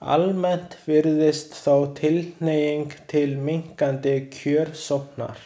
Almennt virðist þó tilhneiging til minnkandi kjörsóknar.